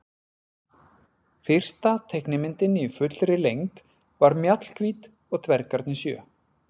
Fyrsta teiknimyndin í fullri lengd var Mjallhvít og dvergarnir sjö.